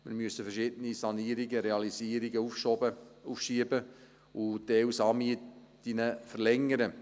Wir müssen verschiedene Sanierungen, Realisierungen aufschieben und teils Saalmieten verlängern.